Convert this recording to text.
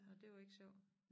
Og det var ikke sjovt?